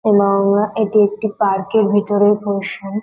এবং এটি একটি পার্কের ভিতরের পোরশান ।